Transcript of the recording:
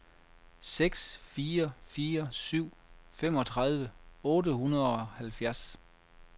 seks fire fire syv femogtredive otte hundrede og halvfjerds